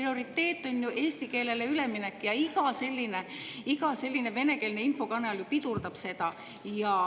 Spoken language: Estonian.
Prioriteet on ju eesti keelele üleminek ja iga selline venekeelne infokanal pidurdab seda.